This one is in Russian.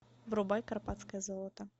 врубай карпатское золото